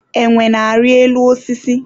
enwe na-ari elu osisi